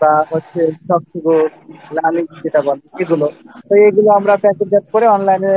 বা হচ্ছে নলেন গুড় যেটা বলে তো আমরা এগুলো packet-জাত করে Online-এ